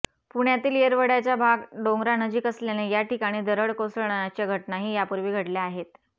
पुण्यातील येरवड्याचा भाग डोंगरानजिक असल्याने या ठिकाणी दरड कोसळण्याच्या घटनाही यापूर्वी घडल्या आहेत